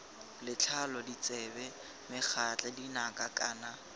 letlalo ditsebe megatla dinaka kana